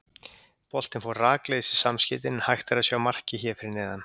Boltinn fór rakleiðis í samskeytin en hægt er að sjá markið hér fyrir neðan.